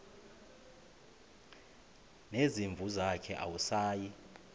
nezimvu zakhe awusayi